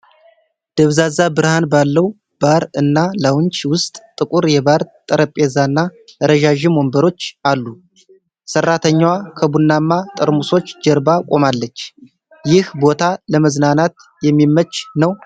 ደብዛዛ ብርሃን ባለው ባር እና ላውንጅ ውስጥ ጥቁር የባር ጠረጴዛና ረዣዥም ወንበሮች አሉ። ሰራተኛዋ ከቡናማ ጠርሙሶች ጀርባ ቆማለች። ይህ ቦታ ለመዝናናት የሚመች ነውን?